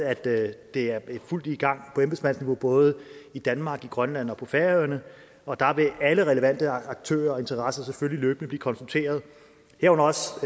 at det er i fuld gang på embedsmandsniveau både i danmark i grønland og færøerne og der vil alle relevante aktører og interessenter selvfølgelig løbende blive konsulteret herunder også